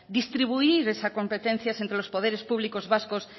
distribuir esas competencias entre los poderes públicos vascos